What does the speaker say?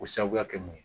K'o sababuya kɛ mun ye